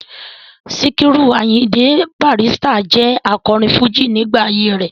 Sikiru Ayinde Barrister jẹ́ akọrin fújì nígbà ayé rẹ̀.